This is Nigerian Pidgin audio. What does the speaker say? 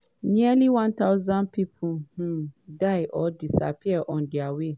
nearly 1000 pipo um die or disappear on dia way.